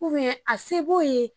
Kɔmi a se b'o ye